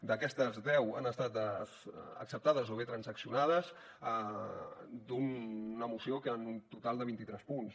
d’aquestes deu han estat acceptades o bé transaccionades d’una moció amb un total de vint i tres punts